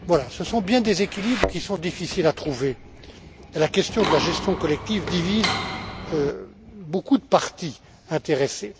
Ce sont bien des équilibres qui sont difficiles à trouver et la question de la gestion collective divise beaucoup de parties intéressées.